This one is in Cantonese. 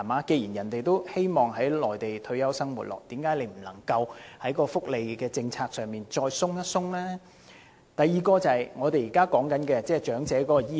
既然長者想在內地過其退休生活，那為何政府不在福利政策上放寬一點以便利這些長者呢？